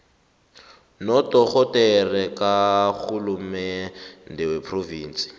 nodorhodere karhulumende wephrovinsi